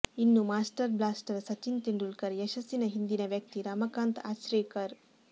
ಇನ್ನು master blaster Sachin Tendulkar ಯಶಸ್ಸಿನ ಹಿಂದಿನ ವ್ಯಕ್ತಿ ರಮಕಾಂತ್ ಅಚ್ರೆಕರ್